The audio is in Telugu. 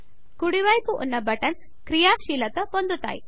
కుడి వైపు ఉన్న బటన్స్ క్రియాశీలత పొందుతాయి